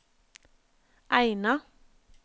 Eina